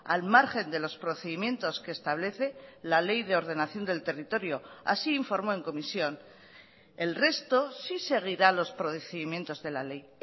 al margen de los procedimientos que establece la ley de ordenación del territorio así informó en comisión el resto sí seguirá los procedimientos de la ley